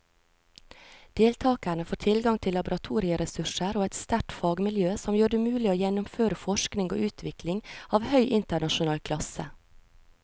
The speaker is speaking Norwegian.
Deltakerne får tilgang til laboratorieressurser og et sterkt fagmiljø som gjør det mulig å gjennomføre forskning og utvikling av høy internasjonal klasse.